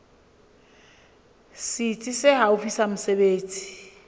setsi se haufi sa mesebetsi